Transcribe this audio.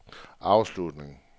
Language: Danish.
afslutning